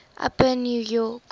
upper new york